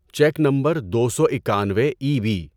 check number دو سو اکانوے ای بی